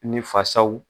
Ni fasaw